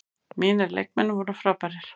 Mínir leikmenn voru frábærir.